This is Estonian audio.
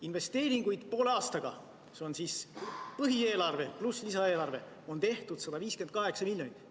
Investeeringuid on poole aastaga – see on põhieelarve pluss lisaeelarve – tehtud 158 miljonit eurot.